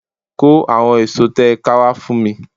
Kó àwon èso tẹ́ ẹ ká wá fún mi